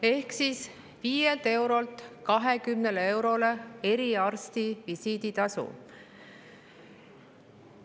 Ehk siis eriarsti visiiditasu 5 eurolt 20 eurole.